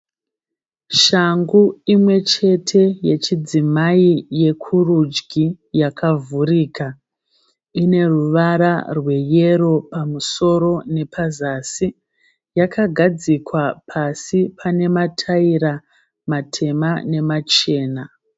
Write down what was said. Shangu imwe chete yechidzimai yekurudyi yakavhurika, ine ruvara rweyero pamusoro nepazasi, yakagadzikwa pasi pane matayira matema nemachena.